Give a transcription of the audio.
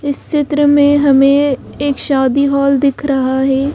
इस चित्र में हमें एक शादी हॉल दिख रहा है।